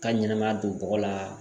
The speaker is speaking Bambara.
Ka ɲɛnɛmaya don bɔgɔ la